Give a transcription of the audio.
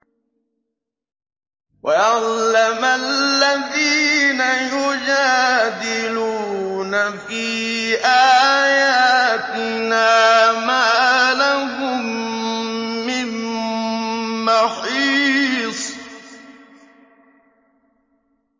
وَيَعْلَمَ الَّذِينَ يُجَادِلُونَ فِي آيَاتِنَا مَا لَهُم مِّن مَّحِيصٍ